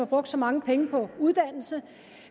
brugt så mange penge på uddannelse